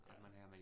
Ja